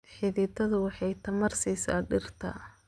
Xididdadu waxay tamar siisaa dhirta.